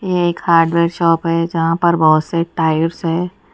ये एक hardware shop है जहां पर बहोत से टायर्स है।